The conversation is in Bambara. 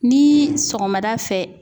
Ni sɔgɔmada fɛ